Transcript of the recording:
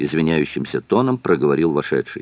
извиняющимся тоном проговорил вошедший